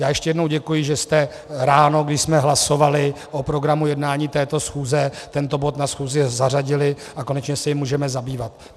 Já ještě jednou děkuji, že jste ráno, když jsme hlasovali o programu jednání této schůze, tento bod na schůzi zařadili a konečně se jím můžeme zabývat.